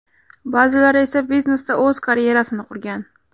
Ba’zilari esa biznesda o‘z karyerasini qurgan.